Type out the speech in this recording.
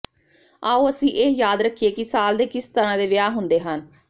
ਆਓ ਅਸੀਂ ਇਹ ਯਾਦ ਰੱਖੀਏ ਕਿ ਸਾਲ ਦੇ ਕਿਸ ਤਰ੍ਹਾਂ ਦੇ ਵਿਆਹ ਹੁੰਦੇ ਹਨ